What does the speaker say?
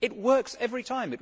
It works every time.